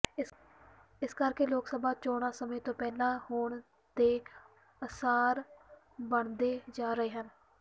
ਇਸ ਕਰਕੇ ਲੋਕ ਸਭਾ ਚੋਣਾਂ ਸਮੇਂ ਤੋਂ ਪਹਿਲਾਂ ਹੋਣ ਦੇ ਆਸਾਰ ਬਣਦੇ ਜਾ ਰਹੇ ਹਨ